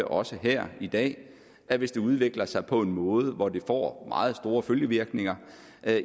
også her i dag at hvis det udvikler sig på en måde hvor det får meget store følgevirkninger